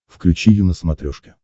включи ю на смотрешке